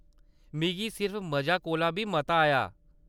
मिगी सिर्फ मजे कोला बी मता आया !